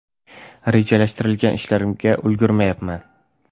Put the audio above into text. Rejalashtirilgan ishlarimga ulgurmayapman.